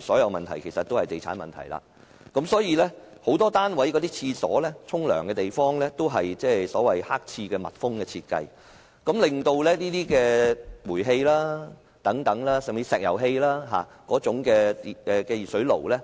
所有問題其實都是地產問題——很多單位的廁所或浴室都是密封設計的"黑廁"，不能安裝煤氣或石油氣熱水爐。